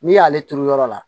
N'i y'ale turu yɔrɔ la